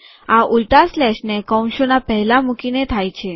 આ ઉલટા સ્લેશને કૌંસોના પહેલા મુકીને થાય છે